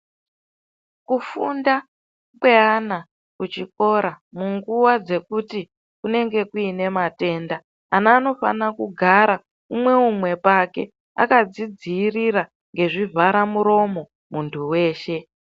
Kufunda kweana kuchikora munguwa dzekuti kunenge kuine matenda, ana anofanira kugara umwe umwe pake, akadzi dziirira ngezvi vhara muromo.